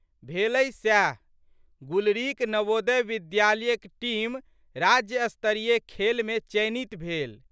भेलै सएह। गुलरीक नवोदय विद्यालयक टीम राज्य स्तरीय खेलमे चयनित भेल।